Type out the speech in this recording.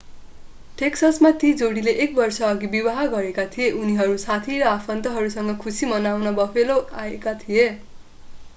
टेक्ससमा ती जोडीले एक वर्षअघि विवाह गरेका थिए उनीहरू साथी र आफन्तहरूसँग खुशी मनाउन बफेलो आएका थिए